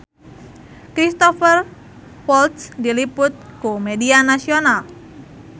Cristhoper Waltz diliput ku media nasional